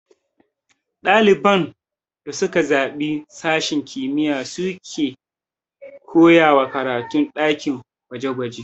Ɗaliban da suka zaɓi sashen kimiyya su a ke koyawa karatun ɗakin gwaje gwaje